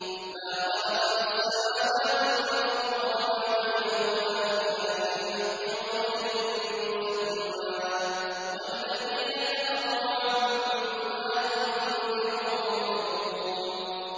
مَا خَلَقْنَا السَّمَاوَاتِ وَالْأَرْضَ وَمَا بَيْنَهُمَا إِلَّا بِالْحَقِّ وَأَجَلٍ مُّسَمًّى ۚ وَالَّذِينَ كَفَرُوا عَمَّا أُنذِرُوا مُعْرِضُونَ